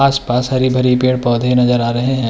आस-पास हरि-भरि पेड़-पौधे नजर आ रहे हैं।